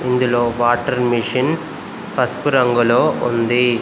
ఇందులో water machine పసుపు రంగులో ఉంది.